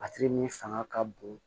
A tigi min fanga ka bon